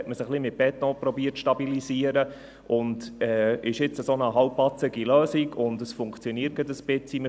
Dort hat man es ein wenig mit Beton zu stabilisieren versucht, hat jetzt eine halbpatzige Lösung, und es funktioniert gerade ein wenig.